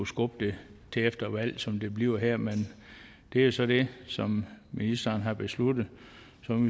skubbe det til efter et valg som det bliver her men det er så det som ministeren har besluttet